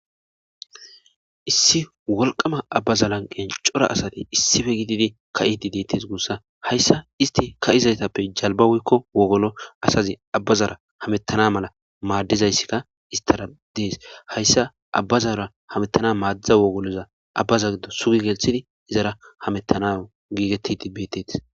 Issi wolqama abbazalanqen cora asati issife gididi ka7idi deettes guussa hayssa isti ka7izaytappe jalbawekko wogolo asazi abbazara hamettana mala maaddizayssikka istara dees hayssa abbazara hamettana maadidza wogoloza abbaza giddo sugi gelthidi izara hamettana giigetti dibbetetis